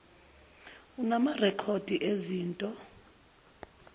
unama rekhodi ezinto